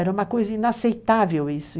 Era uma coisa inaceitável isso.